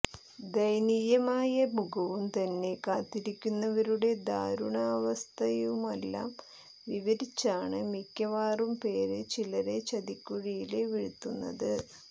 ദയനീയമായ മുഖവുംതന്നെ കാത്തിരിക്കുന്നവരുടെ ദാരുണാവസ്ഥയുമെല്ലാം വിവരിച്ചാണ് മിക്കവാറും പേര് ചിലരെ ചതിക്കുഴിയില് വീഴ്ത്തുന്നത്